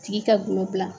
Tigi ka gulɔ dilan